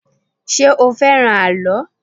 Ṣé o fẹ́ràn àlọ́?